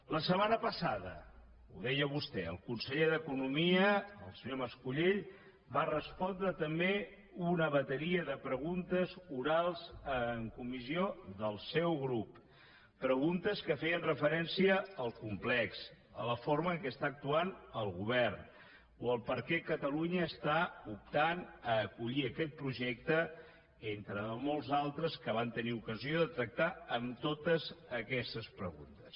la setmana passada ho deia vostè el conseller d’economia el senyor mas colell va respondre també una bateria de preguntes orals en comissió del seu grup preguntes que feien referència al complex a la forma en què està actuant el govern o a per què catalunya està optant a acollir aquest projecte entre molts d’altres que van tenir ocasió de tractar amb totes aquestes preguntes